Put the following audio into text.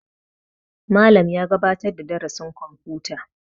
Malam ya gabatar da darasin kwamfuta